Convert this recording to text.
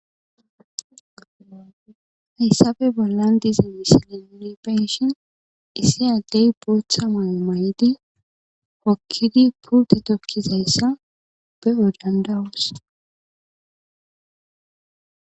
hassabe bollan dize wisilenni penshin essi Addey bootha mayo ma7ydi hokkidi purte tokkizayssa be odandawus